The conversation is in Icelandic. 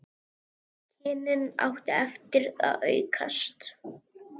Kynnin áttu eftir að aukast.